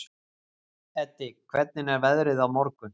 Eddi, hvernig er veðrið á morgun?